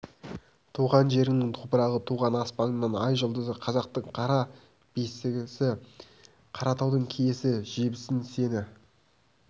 туған жеріңнің топырағы туған аспаныңның ай-жұлдызы қазақтың қара бесігі қаратаудың киесі жебесін сені